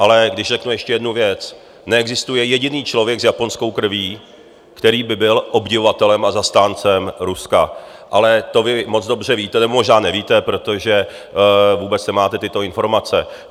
Ale když řeknu ještě jednu věc, neexistuje jediný člověk s japonskou krví, který by byl obdivovatelem a zastáncem Ruska, ale to vy moc dobře víte, nebo možná nevíte, protože vůbec nemáte tyto informace.